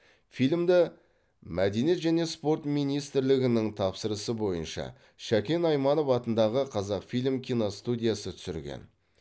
фильмді мәдениет және спорт министрлігінің тапсырысы бойынша шәкен айманов атындағы қазақфильм киностудиясы түсірген